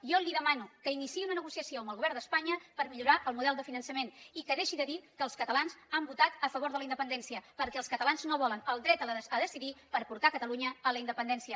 jo li demano que iniciï una negociació amb el govern d’espanya per millorar el model de finançament i que deixi de dir que els catalans han votat a favor de la independència perquè els catalans no volen el dret a decidir per portar catalunya a la independència